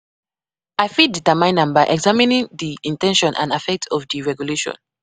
I fit determine am by examining di in ten tion and affect of di regulation.